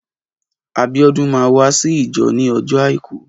Abiodun mà wàsí ijọ ni ọjọ áikù